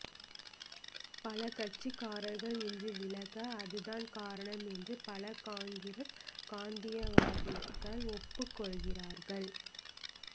பல கட்சிக்காரர்கள் இன்று விலக அது தான் காரணம் இன்று பல காங்கிரஸ் காந்தியவாதிகள் ஒப்புக்கொள்கிறார்கள்